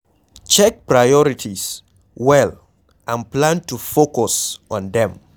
Check your priorities well and plan to focus on them